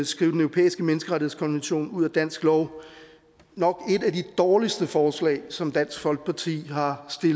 skrive den europæiske menneskerettighedskonvention ud af dansk lov nok et af de dårligste forslag som dansk folkeparti har